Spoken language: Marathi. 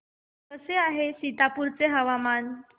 कसे आहे सीतापुर चे हवामान